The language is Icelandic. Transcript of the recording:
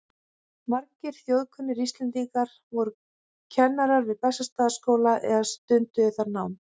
Margir þjóðkunnir Íslendingar voru kennarar við Bessastaðaskóla eða stunduðu þar nám.